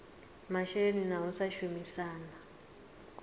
masheleni na u sa shumisana